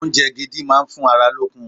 Oúnjẹ gidi máa ń fún ara lókun.